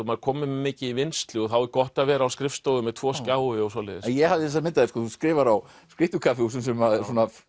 maður kominn með mikið í vinnslu þá er gott að vera á skrifstofu með tvo skjái og svoleiðis ég hafði þessa mynd af þér þú skrifar á skrýtnum kaffihúsum sem